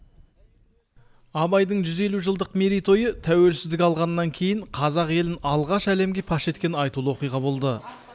абайдың жүз елу жылдық мерейтойы тәуелсіздік алғаннан кейін қазақ елін алғаш рет әлемге паш еткен айтулы оқиға болды